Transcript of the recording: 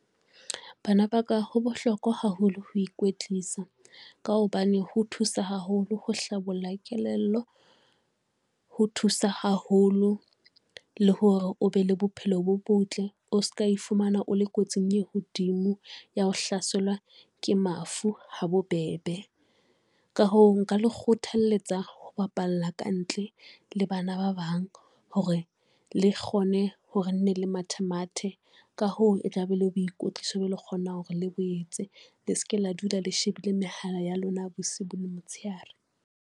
Bana ba ka, ho bohlokwa haholo ho ikwetlisa ka hobane ho thusa haholo ho hlabolla kelello, ho thusa haholo le hore o be le bophelo bo botle, o ska e fumana, o le kotsing e hodimo ya ho hlaselwa ke mafu ha bobebe. Ka hoo nka le kgothalletsa ho bapalla ka ntle le bana ba bang hore le kgone hore ne le mathemathe ka hoo, e tla be le boikotliso be le kgonang hore le boetse le seke la dula le shebile mehala ya lona bosibu le motshehare.